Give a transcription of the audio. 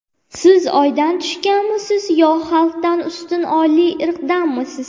Siz oydan tushganmisiz, yo xalqdan ustun oliy irqdanmisiz?